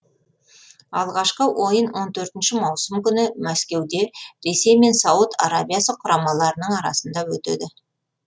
алғашқы ойын он төртінші маусым күні мәскеуде ресей мен сауд арабиясы құрамаларының арасында өтеді